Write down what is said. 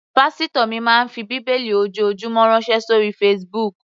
Pásítò mi máa ń fi bíbélì ojoojúmọ́ ránṣẹ́ sóri Facebook.